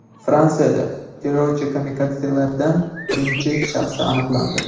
Fransiyada terrorchi-kamikadzelardan birining shaxsi aniqlandi.